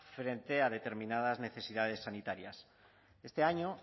frente a determinadas necesidades sanitarias este año